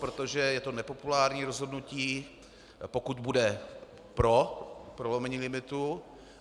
Protože je to nepopulární rozhodnutí, pokud bude pro prolomení limitu.